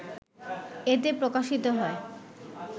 এতে প্রকাশিত হয়।